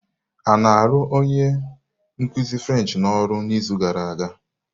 A na-arụ onye nkuzi French n'ọrụ n'izu gara aga?